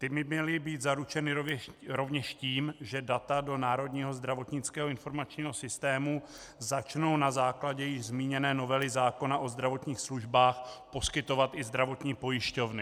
Ta by měly být zaručena rovněž tím, že data do národního zdravotnického informačního systému začnou na základě již zmíněné novely zákona o zdravotních službách poskytovat i zdravotní pojišťovny.